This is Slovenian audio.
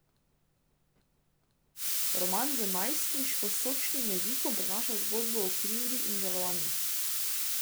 Roman z najstniško sočnim jezikom prinaša zgodbo o krivdi in žalovanju.